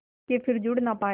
के फिर जुड़ ना पाया